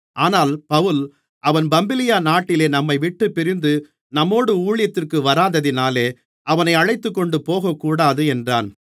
ஆனால் பவுல் அவன் பம்பிலியா நாட்டிலே நம்மைவிட்டுப் பிரிந்து நம்மோடு ஊழியத்திற்கு வராததினாலே அவனை அழைத்துக்கொண்டு போகக்கூடாது என்றான்